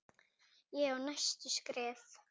Ég á næsta skref.